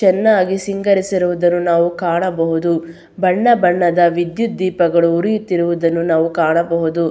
ಚನ್ನಾಗಿ ಸಿಂಗರಿಸಿರುವುದನ್ನು ನಾವು ಕಾಣಬಹುದು ಬಣ್ಣ ಬಣ್ಣದ ವಿದ್ಯುತ್ ದೀಪಗಳು ಉರಿಯುತ್ತಿರುವುದನ್ನು ನಾವು ಕಾಣಬಹುದು.